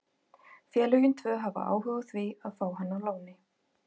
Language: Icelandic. Félögin tvö hafa áhuga á því að fá hann á láni.